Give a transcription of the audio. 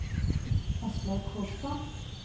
Aslaug Kolstad